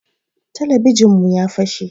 Talabijin mu ya fase